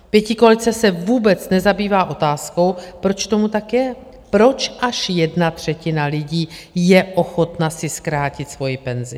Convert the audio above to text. Pětikoalice se vůbec nezabývá otázkou, proč tomu tak je, proč až jedna třetina lidí je ochotna si zkrátit svoji penzi.